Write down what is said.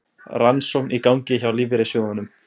Rannsókn í gangi á lífeyrissjóðunum